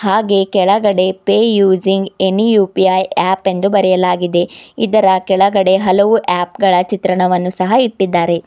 ಹಾಗೆ ಕೆಳಗಡೆ pay using any U P I app ಎಂದು ಬರೆಯಲಾಗಿದೆ ಇದರ ಕೆಳಗಡೆ ಹಲವು ಆಪ್ ಗಳ ಚಿತ್ರಣವನ್ನು ಸಹ ಇಟ್ಟಿದಾರೆ.